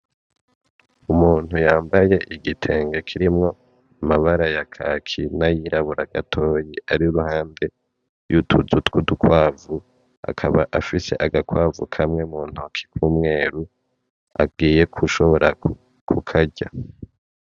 Umuntu yambaye igitenge kirimwo amabara ya kaki na yirabura gatoya, ari ruhande yutuzu twudu kwavu akaba afise agakwavu kamwe mu ntoke k'umweru agiye gushobora kukarya.